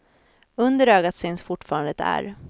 Under ögat syns fortfarande ett ärr.